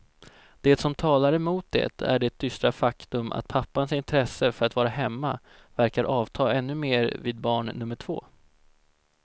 Det som talar emot det är det dystra faktum att pappans intresse för att vara hemma verkar avta ännu mer vid barn nummer två.